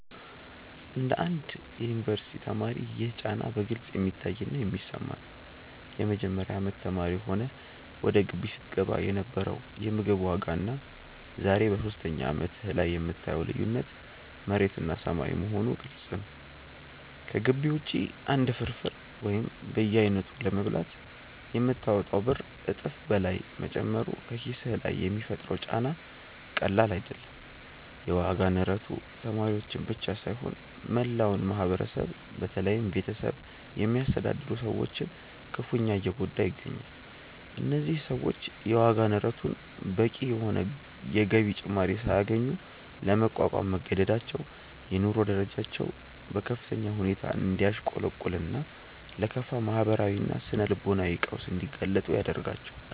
እንደ አንድ የዩኒቨርሲቲ ተማሪ ይህ ጫና በግልጽ የሚታይና የሚሰማ ነው። የመጀመሪያ አመት ተማሪ ሆነህ ወደ ግቢ ስትገባ የነበረው የምግብ ዋጋና ዛሬ በሶስተኛ አመትህ ላይ የምታየው ልዩነት መሬትና ሰማይ መሆኑ ግልጽ ነው። ከግቢ ውጪ አንድ ፍርፍር ወይም በየአይነቱ ለመብላት የምታወጣው ብር እጥፍ በላይ መጨመሩ በኪስህ ላይ የሚፈጥረው ጫና ቀላል አይደለም። የዋጋ ንረቱ ተማሪዎችን ብቻ ሳይሆን መላውን ማህበረሰብ በተለይም ቤተሰብ የሚያስተዳድሩ ሰዎችን ክፉኛ እየጎዳ ይገኛል። እነዚህ ሰዎች የዋጋ ንረቱን በቂ የሆነ የገቢ ጭማሪ ሳያገኙ ለመቋቋም መገደዳቸው የኑሮ ደረጃቸው በከፍተኛ ሁኔታ እንዲያሽቆለቁልና ለከፋ ማህበራዊና ስነ-ልቦናዊ ቀውስ እንዲጋለጡ ያደርጋቸዋል።